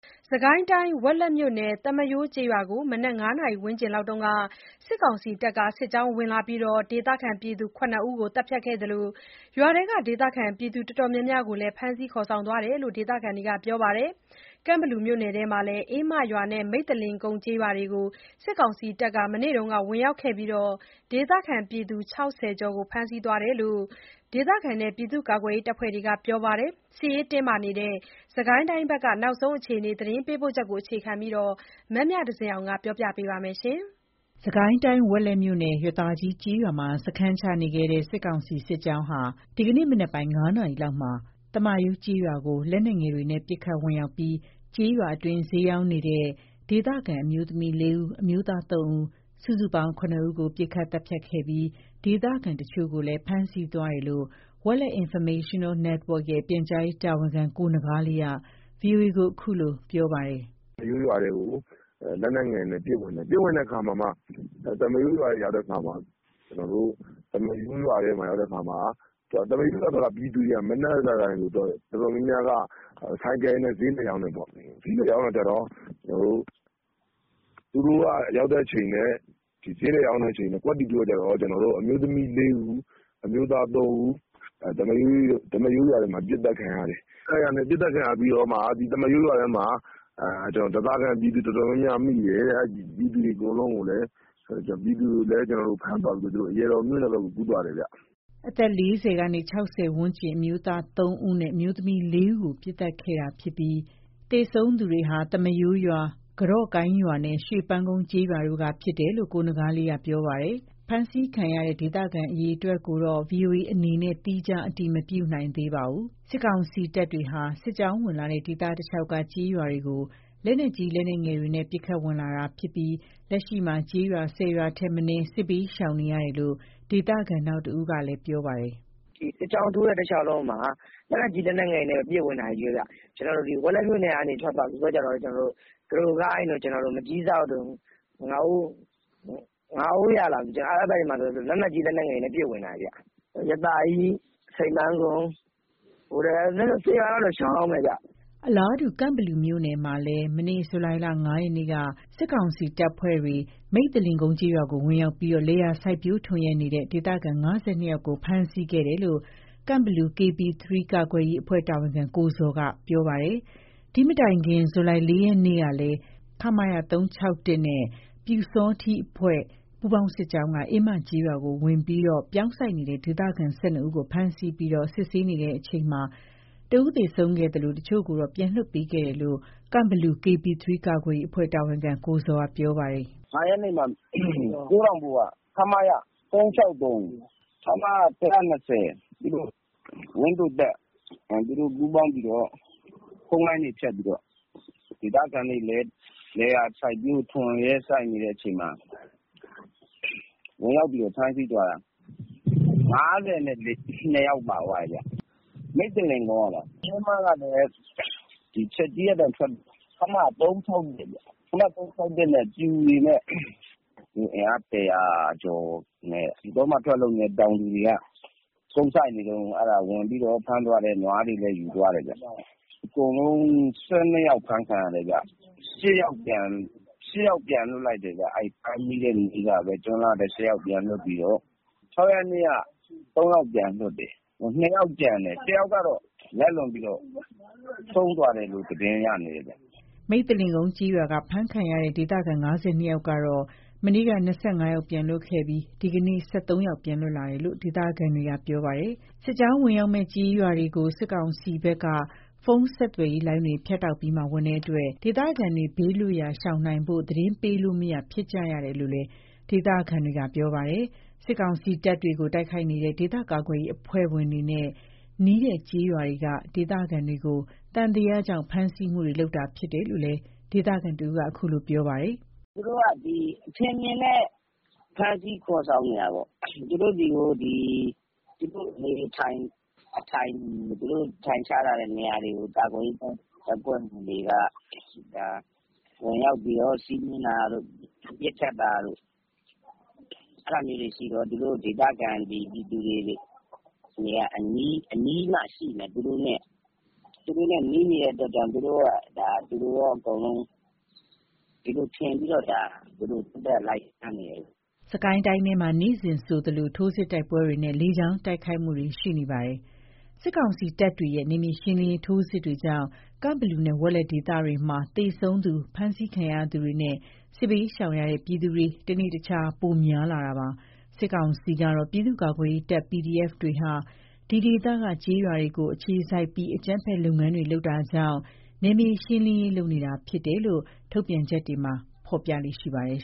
စစ်ကိုင်းတိုင်း ဝက်လက်မြို့နယ် သမ္မာရိုးကျေးရွာကို မနက် ၅ နာရီ ဝန်းကျင်လောက်က စစ်ကောင်စီတပ်တွေက စစ်ကြောင်း ဝင်လာပြီး ဒေသခံ ၇ ဦးကို သတ်ဖြတ်ခဲ့သလို ရွာထဲက ဒေသခံ အတော်များများ ကိုလည်း ဖမ်းဆီးသွားတယ်လို့ ဒေသခံတွေက ပြောပါတယ်။ ကန့်ဘလူမြို့နယ်မှာလည်း အင်းမရွာနဲ့ မိဿလင်ကုန်းကျေးရွာတွေကို စစ်ကောင်စီတပ်တွေ မနေ့က ဝင်ရောက်ပြီး ဒေသခံ ၆၀ ကျော်ကို ဖမ်းဆီးသွားတယ်လို့ ဒေသခံတွေနဲ့ ပြည်သူ့ကာကွယ်ရေးအဖွဲ့တွေက ပြောပါတယ်။ စစ်ရေးတင်းမာနေတဲ့ စစ်ကိုင်းတိုင်းဘက်က နောက်ဆုံးအခြေအနေ သတင်းပေးပို့ချက်ကို မမြသဇင်အောင်က တင်ပြပေးပါမယ်။ စစ်ကိုင်းတိုင်း ဝက်လက်မြို့နယ်၊ ရသာကြီး (ရွာသာကြီး) ကျေးရွာမှာ စခန်းချနေခဲ့တဲ့ စစ်ကောင်စီစစ်ကြောင်းဟာ ဒီကနေ့ မနက်ပိုင်း ၅ နာရီလောက်မှာ သမ္မာရိုးကျေးရွာကို လက်နက်ငယ်တွေနဲ့ ပစ်ခတ်ဝင်ရောက်ပြီး ကျေးရွာအတွင်းမှာ ဈေးရောင်းနေကြတဲ့ ဒေသခံ အမျိုးသမီး ၄ ဦး၊ အမျိုးသား ၃ ဦး စုစုပေါင်း ၇ ဦးကို ပစ်ခတ်သတ်ဖြတ်ခဲ့ပြီး ဒေသခံတချို့ကိုလည်း ဖမ်းဆီးသွားတယ်လို့ Welet Informational Network ရဲ့ ပြန်ကြားရေးတာဝန်ခံ ကိုနဂါးလေးက ဗွီအိုအေကို ခုလိုပြောပါတယ်။ “သမ္မာရိုးရွာထဲကို လက်နက်ငယ်တွေနဲ့ ပစ်ဝင်တယ်။ ဝင်တဲ့ခါမှာမှ သမ္မာရိုးရွာထဲကို ရောက်တဲ့အခါမှာ သမ္မာရိုးရွာထဲက ပြည်သူတွေက မနက်ဆိုရင် သူတို့က ဆိုင်ကယ်တွေနဲ့ ဈေးလှည့်ရောင်းတယ်ပေါ့။ ရောင်းတဲ့ခါကျတော့ သူတို့ရောက်တဲ့အချိန်နဲ့ ဈေးလှည့်ရောင်းတဲ့ အချိန်နဲ့ ကွက်တိ တိုးတဲ့အခါကျတော့ အမျိုးသမီး ၄ ဦး အမျိုးသား ၃ ဦး သမ္မာရိုးရွာထဲမှာ ပစ်သတ်ခံရတယ်။ ပစ်သတ်ခံရပြီးတော့မှ သမ္မာရိုးရွာထဲမှာ ဓားစာခံ ပြည်သူ တော်တော်များများ မိတယ်တဲ့။ ပြည်သူတွေ တော်တော်များများ ကိုလည်း ဖမ်းသွားပြီးတော့ သူတို့ အရာတော်မြို့နယ်ဘက်ကို ကူးသွားတယ်ဗျ။” အသက် ၄၀ ကနေ ၆၀ ဝန်းကျင် အမျိုးသား ၃ ဦးနဲ့ အမျိုးသမီး ၄ ဦးကို ပစ်သတ်ခဲ့ရတာဖြစ်ပြီး သေဆုံးသူတွေဟာ သမ္မာရိုးရွာ၊ ကတော့ကိုင်းရွာနဲ့ ရွှေပန်းကုန်း ကျေးရွာတို့က ဖြစ်ကြတယ်လို့ ကိုနဂါးလေးက ပြောပါတယ်။ ဖမ်းဆီးခံရတဲ့ ဒေသခံ အရေအတွက်ကိုတော့ ဗွီအိုအေအနေနဲ့ သီးခြားအတည်မပြုနိုင်သေးပါဘူး။ စစ်ကောင်စီတပ်တွေဟာ စစ်ကြောင်းဝင်လာတဲ့ ဒေသတလျှောက်က ကျေးရွာတွေကို လက်နက်ကြီး လက်နက်ငယ်တွေနဲ့ ပစ်ခတ် ဝင်လာတာဖြစ်ပြီး လက်ရှိမှာ ကျေးရွာ ၁၀ ရွာထက်မနည်း စစ်ဘေးရှောင်နေကြရတယ်လို့ ဒေသခံ နောက်တစ်ဦးကလည်း ပြောပါတယ်။ “ဒီစစ်ကြောင်းထိုးတဲ့ တလျှောက်လုံးမှာ လက်နက်ကြီး လက်နက်ငယ်တွေနဲ့ ချည်းပဲ ပစ်ဝင်တာချည်းပဲဗျ။ သူတို့ ကျနော်တို့ ဝက်လက်မြို့နယ်က ထွက်သွားပြီးတော့ ကတော့ကိုင်းတို့၊ မကျည်းစောက်တို့၊ ငါးအိုးရတို့ အဲ့ဘက်တွေမှာဆိုရင် လက်နက်ကြီး လက်နက်ငယ်တွေနဲ့ချည်းပဲ ပစ်ဝင်တာဗျ။ ရွာသာကြီး၊ ရွှေပန်းကုန်း၊ ဘိုတဲကုန်း အဲ့လို ၁၀ ရွာလောက်ကတော့ ရှောင်ရဦးမယ်ဗျ။” အလားတူ ကန့်ဘလူမြို့နယ်မှာလည်း မနေ့ ဇူလိုင် ၅ ရက်နေ့က စစ်ကောင်စီတပ်ဖွဲ့တွေ မိဿလင်ကုန်း ကျေးရွာကို ဝင်ရောက်ပြီး လယ်ယာစိုက်ပျိုး ထွန်ယက်နေတဲ့ ဒေသခံ ၅၂ ယောက်ကို ဖမ်းဆီးခဲ့တယ်လို့ ကန့်ဘလူ KB 3 ကာကွယ်ရေးအဖွဲ့ တာဝန်ခံ ကိုဇော်က ပြောပါတယ်။ ဒီ့မတိုင်ခင် ဇူလိုင်လ ၄ ရက်နေ့ကလည်း ခမရ ၃၆၁ နဲ့ ပျူစောထီးအဖွဲ့ ပူးပေါင်း စစ်ကြောင်းက အင်းမကျေးရွာကို ဝင်ရောက်ပြီး ပြောင်းစိုက်နေတဲ့ ဒေသခံ ၁၂ ယောက်ကို ဖမ်းဆီးပြီး စစ်ဆေးနေချိန်မှာ တယောက်သေဆုံးခဲ့သလို၊ တချို့ကိုတော့ ပြန်လွှတ်ပေးခဲ့တယ်လို့ ကန့်ဘလူ KB 3 ကာကွယ်ရေးအဖွဲ့ တာဝန်ခံကိုဇော်က ပြောပါတယ်။ “၅ ရက်နေ့မှာ ကိုးတောင်ဘို့က ခမရ ၃၆၃၊ ခမရ ၁၂၀ ဝန်းသိုတပ် သူတို့ ပူးပေါင်းပြီးတော့ ဖုန်းလိုင်းတွေ ဖြတ်ပြီးတော့ ဒေသခံတွေ လယ်ယာစိုက်ပျိုး ထွန်ယက်နေတဲ့အချိန်မှာ ဝင်ရောက်ပြီးတော့ ဖမ်းဆီးသွားတာ။ ၅၂ ယောက်ပါသွားတယ်ဗျ၊ မိဿလင်ကုန်းကပါ။ အင်းမကလည်း ဒီချက်ကြီးကနေ ထွက်လာတဲ့ ခမရ ၃၆၁ ဗျ၊ ခမရ ၃၆၁ နဲ့ ပျူတွေနဲ့ အင်အား ၁၀၀ ကျော်လောက်နဲ့ တောမှာ ထွက်လုပ်နေတဲ့ တောင်သူတွေက ကုန်းသီးနှံ စိုက်နေတုန်းကို ဝင်ပြီးတော့ ဖမ်းသွားတယ်။ နွားတွေလည်း ယူသွားတယ်ဗျ။ အကုန်လုံး ၁၂ ယောက် ဖမ်းခံရတယ်ဗျ။ ၈ ယောက် ပြန်လွှတ်လိုက်တယ်ဗျ။ ဖမ်းမိတဲ့နေ့ကပဲ ကျွန်းလှကနေ ၈ ယောက် ပြန်လွတ်လိုက်ပြီးတော့ ၆ ရက်နေ့က ၃ ယောက်ပြန်လွှတ်တယ်။ ၂ ယောက်ကျန်တယ်။ တယောက်ကတော့ လက်လွန်ပြီးတော့ ဆုံးသွားတယ်လို့ သတင်းရနေတယ်ဗျ။” မိဿလင်ကုန်းကျေးရွာက ဖမ်းခံရတဲ့ ဒေသခံ ၅၂ ယောက်ကတော့ မနေ့က ၂၅ ယောက် ပြန်လွတ်ခဲ့ပြီး ဒီကနေ့မှာလည်း ၁၃ ယောက် ပြန်လွတ်လာတယ်လို့ ဒေသခံတွေက ပြောပါတယ်။ စစ်ကြောင်းဝင်ရောက်မယ့် ကျေးရွာတွေကို စစ်ကောင်စီဘက်က ဖုန်းဆက်သွယ်ရေး လိုင်းတွေ ဖြတ်တောက်ပြီးမှ ဝင်တဲ့အတွက် ဒေသခံတွေ ဘေးလွတ်ရာ ရှောင်နိုင်ဖို့ သတင်းပေးလို့မရ ဖြစ်ကြရတယ်လို့လည်း ဒေသခံတွေက ပြောပါတယ်။ စစ်ကောင်စီတပ်တွေကို တိုက်ခိုက်နေတဲ့ ဒေသကာကွယ်ရေး အဖွဲ့ဝင်တွေနဲ့ နီးတဲ့ ကျေးရွာတွေက ဒေသခံတွေကို သံသယကြောင့် ဖမ်းဆီးမှုတွေ လုပ်လာတာဖြစ်တယ်လို့လည်း ဒေသခံတစ်ဦးက ခုလိုပြောပါတယ်။ “သူတို့က ဒီအထင်အမြင်နဲ့ ဖမ်းဆီးခေါ်ဆောင်နေတာပေါ့။ သူတို့ဆီကို ဒီသူတို့ အထိုင်ချထားတဲ့ နေရာတွေကို ကာကွယ်ရေး တပ်ဖွဲ့ဝင်တွေက ဝင်ရောက်ပြီးတော့ စီးနင်းတာတို့ ပစ်ခတ်တာတို့။ အဲ့လို့ သူတို့ ဒီ ဒေသခံပြည်သူတွေက အနီးမှာရှိမယ်။ သူတို့နဲ့နီးနေတဲ့ အတွက်ကြောင့် သူတို့နဲ့ အကုန်လုံး ဒီလိုထင်ပြီးတော့ သက်သက် လိုက်ဖမ်းနေတာလို့ ထင်တယ်။” စစ်ကိုင်းတိုင်းအတွင်းမှာ နေ့စဉ်ဆိုသလို ထိုးစစ် တိုက်ပွဲတွေနဲ့ လေကြောင်း တိုက်ခိုက်မှုတွေ ရှိနေတာပါ။ စစ်ကောင်စီတပ်တွေရဲ့ နယ်မြေရှင်းလင်းရေး ထိုးစစ်တွေကြောင့် ကန့်ဘလူနဲ့ ဝက်လက် ဒေသတွေမှာ သေဆုံးသူ ဖမ်းဆီးခံရသူတွေနဲ့ စစ်ဘေးရှောင်ကြရတဲ့ ပြည်သူတွေ တနေ့တခြား ပိုများလာနေတာပါ။ စစ်ကောင်စီကတော့ ပြည်သူ့ကာကွယ်ရေးတပ် PDF တွေဟာ ဒီဒေသက ကျေးရွာတွေကို အခြေစိုက်ပြီး အကြမ်းဖက် လုပ်ငန်းတွေ လုပ်နေတာကြောင့် နယ်မြေရှင်းလင်းရေး လုပ်နေတာဖြစ်တယ်လို့ ထုတ်ပြန်ချက်တွေမှာ ဖော်ပြလေ့ရှိပါတယ်